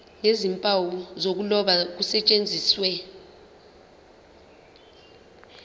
nezimpawu zokuloba kusetshenziswe